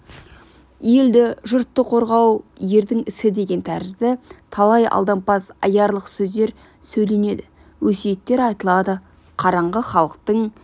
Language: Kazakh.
елді жұртты қорғау ердің ісі деген тәрізді талай алдампаз аярлық сөздер сөйленеді өсиеттер айтылады қараңғы халықтың